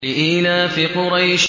لِإِيلَافِ قُرَيْشٍ